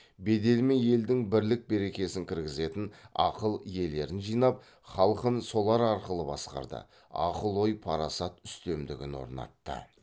беделімен елдің бірлік берекесін кіргізетін ақыл иелерін жинап халқын солар арқылы басқарды ақыл ой парасат үстемдігін орнатты